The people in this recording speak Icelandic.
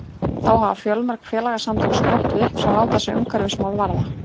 þá hafa fjölmörg félagasamtök sprottið upp sem láta sig umhverfismál varða